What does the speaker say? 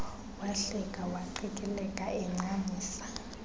wahleka waqikileka encamisa